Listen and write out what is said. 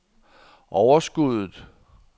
overskuddet